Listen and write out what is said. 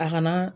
A kana